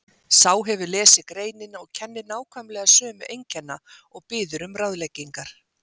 Sá hefur lesið greinina og kennir nákvæmlega sömu einkenna og biður um ráðleggingar